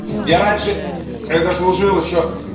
я раньше когда служил ещё